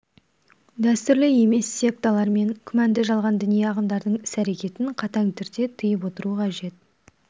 дәстүрлі емес секталар мен күмәнді жалған діни ағымдардың іс-әрекетін қатаң түрде тыйып отыру қажет